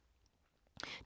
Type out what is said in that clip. DR2